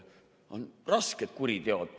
On rasked kuriteod.